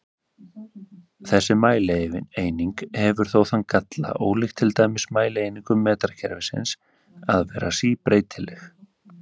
Þessi mælieining hefur þó þann galla, ólíkt til dæmis mælieiningum metrakerfisins, að vera síbreytileg.